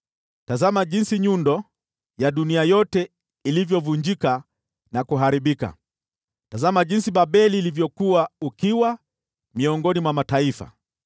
Tazama jinsi nyundo ya dunia yote ilivyovunjika na kuharibika! Tazama jinsi Babeli ilivyokuwa ukiwa miongoni mwa mataifa!